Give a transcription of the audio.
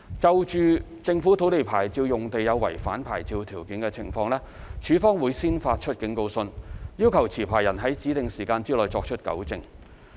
就政府土地牌照用地有違反牌照條件的情況，署方會先發出警告信，要求持牌人在指定時限內作出糾正。